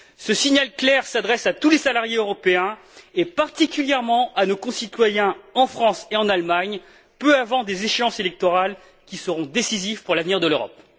Ce signal clair s'adresse à tous les salariés européens et particulièrement à nos concitoyens, en France et en Allemagne, peu avant des échéances électorales qui seront décisives pour l'avenir de l'Europe.